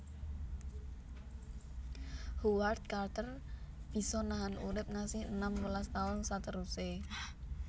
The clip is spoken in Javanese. Howard Carter bisa nahan urip ngasi enam welas taun seteruse